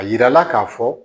A yirala k'a fɔ